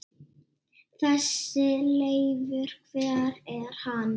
Þessi Leifur. hver er hann?